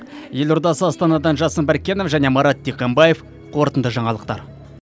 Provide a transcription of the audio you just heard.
елордасы астанадан жасын біркенов және марат диханбаев қорытынды жаңалықтар